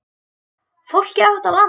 Fólkið á þetta land.